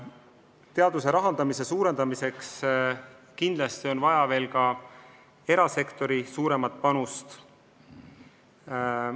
Teaduse rahastamise suurendamiseks on kindlasti vaja ka erasektori suuremat panust.